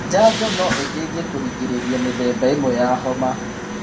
Njanjo no iteithie kũrigĩrĩria mĩthemba ĩmwe ya homa.